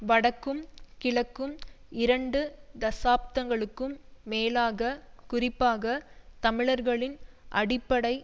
வடக்கும் கிழக்கும் இரண்டு தசாப்தங்களுக்கும் மேலாக குறிப்பாக தமிழர்களின் அடிப்படை